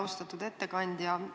Austatud ettekandja!